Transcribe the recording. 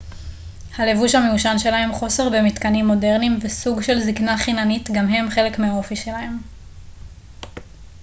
הלבוש המיושן שלהם חוסר במתקנים מודרניים וסוג של זקנה חיננית גם הם חלק מהאופי שלהם